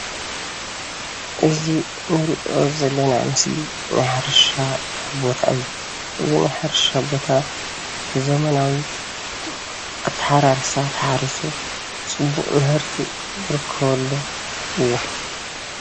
እዚ እንሪኦ ዘለና ምስሊ ናይ ሕርሻ ቦታ እዩ። እዚ ናይ ሕርሻ ቦታ ብዘመናዊ ኣተሓራርሳ ተሓሪሱ ፅቡቕ ምህርቲ ዝርከበሉ እዩ።